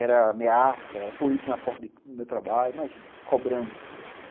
Era ameaça, polícia na porta do do meu trabalho, imagina, cobrando.